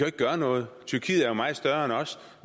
ikke gøre noget tyrkiet er meget større end os